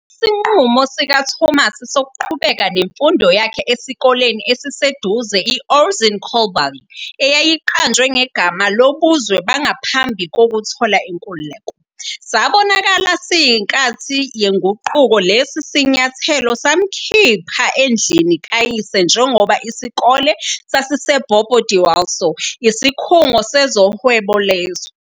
Isinqumo sikaThomas sokuqhubeka nemfundo yakhe esikoleni esiseduze i-Ouezzin Coulibaly, eyayiqanjwe ngegama lobuzwe bangaphambi kokuthola inkululeko, sabonakala siyinkathi yenguquko. Lesi sinyathelo samkhipha endlini kayise njengoba isikole sasiseBobo-Dioulasso, isikhungo sezohwebo lezwe.